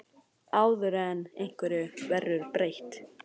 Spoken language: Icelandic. Áður en einhverju verður breytt?